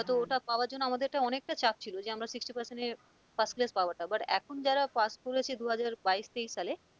হয়তো ওটা পাওয়ার জন্য আমাদের অনেকটা চাপ ছিল যে আমরা sixty percent এর first class পাওয়াটা but এখন যারা pass করেছে দুহাজার বাইশ, তেইশ সালে,